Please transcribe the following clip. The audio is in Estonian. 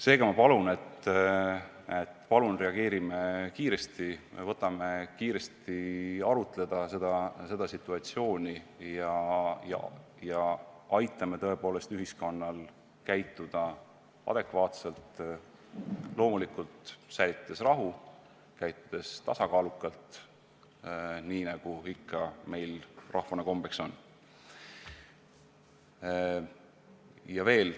Seega, ma palun, et reageerime kiiresti, võtame selle situatsiooni kiiresti arutluse alla ja aitame ühiskonnal käituda adekvaatselt, seejuures loomulikult rahu säilitades ja tasakaalukalt käitudes, nii nagu meil rahvana ikka kombeks on olnud.